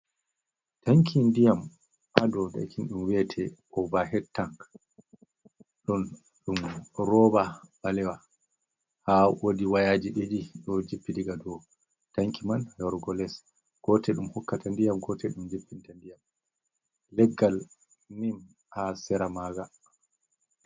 Tanki ndiyam ha dou ɗum ɓe wiata ovahe tang, ɗon ɗum roba ɓalewa ha wodi wayaji ɗiɗi ɗo jippi diga dou tanki man e warugo les, gotel ɗum hokkata ndiyam, gotel ɗum jippinta ndiyam, leggal nim ha sera maga.